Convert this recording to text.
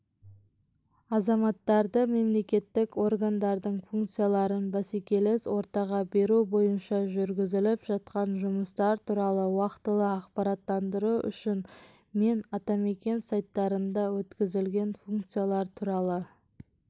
азаматтарды мемлекеттік органдардың функцияларын бәсекелес ортаға беру бойынша жүргізіліп жатқан жұмыстар туралы уақытылы ақпараттандыру үшін мен атамекен сайттарында өткізілген функциялар туралы